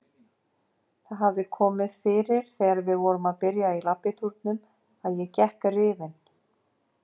Það hafði komið fyrir þegar við vorum að byrja í labbitúrunum að ég gekk rifin.